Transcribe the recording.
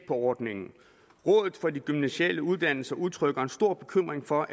ordningen rådet for de gymnasiale uddannelser udtrykker stor bekymring for